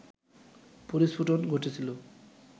পরিস্ফুটন ঘটেছিল